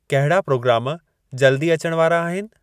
कहिड़ा प्रोग्राम जल्द ई अचण वारा आहिनि